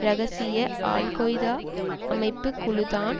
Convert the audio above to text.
இரகசிய al Qaeda அமைப்பு குழுதான்